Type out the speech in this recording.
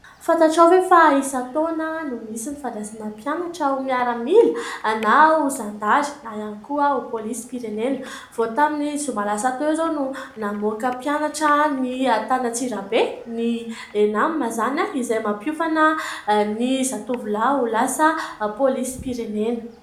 Fantatrao ve fa isan-taona no misy ny fandraisana mpianatra ao amin'ny miaramila na ho zandary na ihany koa ho polisim-pirenena? Vao tamin'ny zoma lasa teo izao no namoaka mpianatra ny tany Antsirabe, ny " ENAM" izany, izay mampiofana ny zatovolahy ho lasa polisim-pirenena.